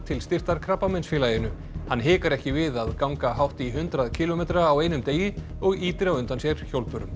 til styrktar Krabbameinsfélaginu hann hikar ekki við að ganga hátt í hundrað kílómetra á einum degi og ýtir á undan sér hjólbörum